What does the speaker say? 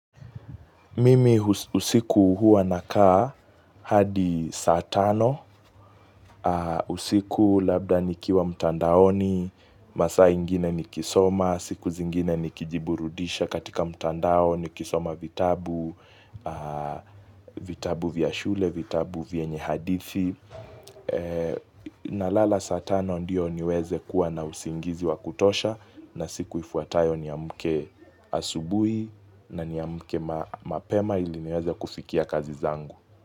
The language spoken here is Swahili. Mimi usiku huwa nakaa hadi saa tano, usiku labda nikiwa mtandaoni, masaa ingine nikisoma, siku zingine ni kijiburudisha katika mtandao nikisoma vitabu, vitabu vya shule, vitabu vyenye hadithi. Nalala saa tano ndio niweze kuwa na usingizi wa kutosha na siku ifuatayo ni amke asubui nani amke mapema ili niweze kufikia kazi zangu.